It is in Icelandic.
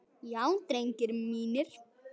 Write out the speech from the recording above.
Já drengir mínir.